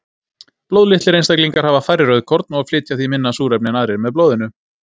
Blóðlitlir einstaklingar hafa færri rauðkorn og flytja því minna súrefni en aðrir með blóðinu.